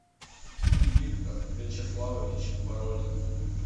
виктор вячеславович бородин